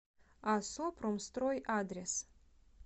асо промстрой адрес